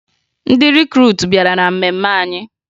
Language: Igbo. Ndị rikruutu bịara na mmemme anyị